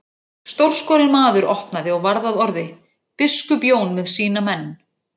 Stórskorinn maður opnaði og varð að orði:-Biskup Jón með sína menn.